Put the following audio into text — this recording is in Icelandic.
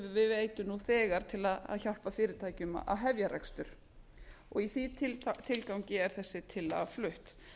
við veitum fyrirtækjum nú þegar til að hefja rekstur í þeim tilgangi er þessi tillaga flutt